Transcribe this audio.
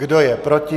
Kdo je proti?